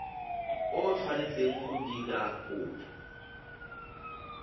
o tshwanetseng go dira kopo